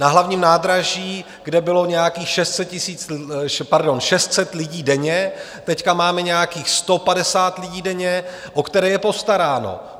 Na Hlavním nádraží, kde bylo nějakých 600 lidí denně, teď máme nějakých 150 lidí denně, o které je postaráno.